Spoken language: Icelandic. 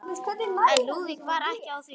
En Lúðvík var ekki á því.